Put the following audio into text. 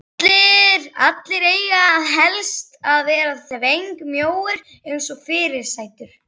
Allir eiga helst að vera þvengmjóir eins og fyrirsætur.